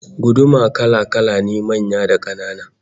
Guduma kala-kala ne, manya da kanana